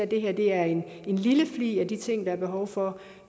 det her er en lille flig af de ting der er behov for